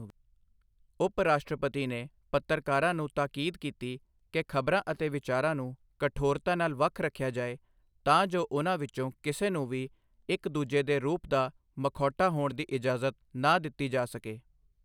ਉਪ ਰਾਸ਼ਟਰਪਤੀ ਨੇ ਪੱਤਰਕਾਰਾਂ ਨੂੰ ਤਾਕੀਦ ਕੀਤੀ ਕਿ ਖ਼ਬਰਾਂ ਅਤੇ ਵਿਚਾਰਾਂ ਨੂੰ ਕਠੋਰਤਾ ਨਾਲ ਵੱਖ ਰੱਖਿਆ ਜਾਏ ਤਾਂ ਜੋ ਉਨ੍ਹਾਂ ਵਿੱਚੋਂ ਕਿਸੇ ਨੂੰ ਵੀ ਇੱਕ ਦੂਜੇ ਦੇ ਰੂਪ ਦਾ ਮਖੌਟਾ ਹੋਣ ਦੀ ਇਜਾਜ਼ਤ ਨਾ ਦਿੱਤੀ ਜਾ ਸਕੇ।